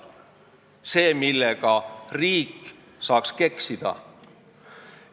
See on see, millega riik keksida saaks.